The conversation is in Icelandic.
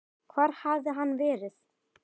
Hvar hafði hann verið?